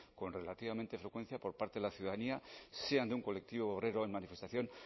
con relativamente frecuencia por parte de la ciudadanía sean de un colectivo obrero en manifestación